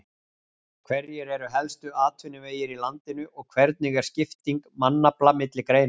Hverjir eru helstu atvinnuvegir í landinu og hvernig er skipting mannafla milli greina?